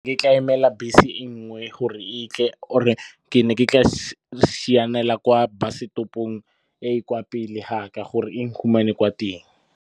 Ke tla emela bese e nngwe gore e tle or-e ke ne ke tla sianela kwa bus setopong e e kwa pele ga ka, gore e na ngfumane kwa teng.